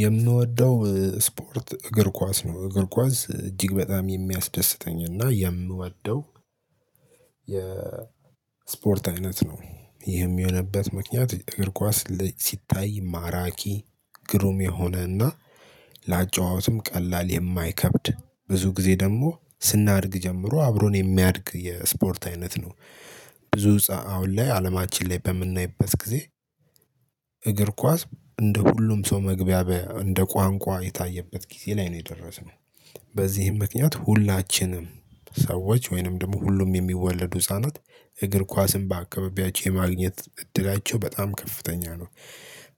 የምወደው ስፖርት እግር ኳስ ነው እግር ኳስ እጅግ በጣም የሚያስደስተኝ እና የምወደው የ ስፖርት አይነት ነው። ይህም የሆነበት ምክንያት እግር ኳስ ሲታይ ማራኪ ግሩም የሆነ እና ለአጨዋወትም ቀላል የማይከብድ ብዙ ጊዜ ደግሞ ስናድግ ጀምሮ አብሮን የሚያድግ የስፖርት አይነት ነው። ብዙ ሰዓት አሁን ላይ አለማችን ላይ በምናይበት ጊዜ። እግር ኳስ እንደ ሁሉም ሰው መግቢያ እንደ ቋንቋ የታየበት ጊዜ ላይ ነው የደረስነው። በዚህም ምክንያት ሁላችንም ሰዎች ወይንም ደግሞ ሁሉም የሚወለዱ ህፃናት እግር ኳስን በአከባቢያቸው የማግኘት እድላቸው በጣም ከፍተኛ ነው።